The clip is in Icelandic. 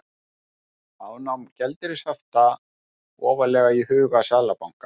Afnám gjaldeyrishafta ofarlega í huga seðlabanka